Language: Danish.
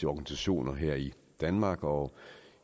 organisationer her i danmark og